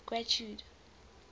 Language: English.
getrude